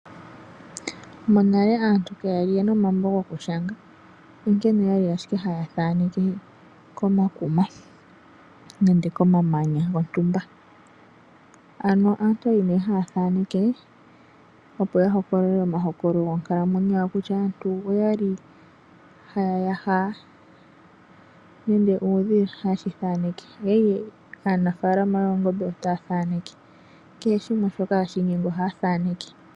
Monale aantu kaaya li yena omalambo goku shanga onkene oyali haya thaneke komakuma nenge komamanya gontumba. Ano aantu oyali nee haya thaaneke, opo ya hokolole omahokololo gonkalamwenyo yawo kutya aantu oyali haya ya ha nenge uudhila ohaye shi thaaneke, oya li aanafalama yoongombe otaya thaaneke. Kehe shimwe shoka hashi ningwa ohaya thaaneke.